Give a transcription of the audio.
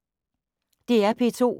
DR P2